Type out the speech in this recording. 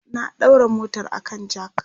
na daura motar a kan jack